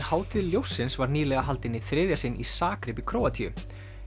Hátíð ljóssins var nýlega haldin í þriðja sinn í Zagreb í Króatíu